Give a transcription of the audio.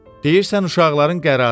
Deyirsən uşaqların qərarı var.